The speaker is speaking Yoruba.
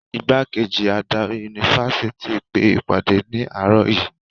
Ìgbákejì adarí yunifásitì pe ìpàdé ní àárọ̀ yìí.